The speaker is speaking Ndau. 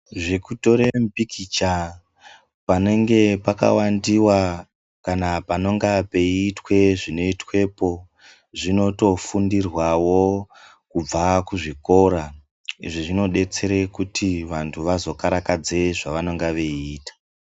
Zvekutore mipikicha panenge pakawandiwa kana panonga peiitwa zvinoitwepo zvino tofundirwawo kubva kuzvikora izvi zvinodetsere kuti vanthu vazo karakadze zvava nenge veiita.